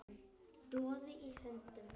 Doði í höndum